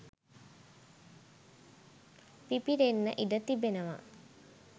පිපිරෙන්න ඉඩ තිබෙනවා.